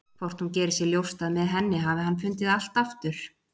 Hvort hún geri sér ljóst að með henni hafi hann fundið allt aftur?